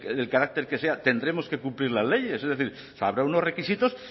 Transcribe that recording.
del carácter que sea tendremos que cumplir las leyes es decir habrá unos requisitos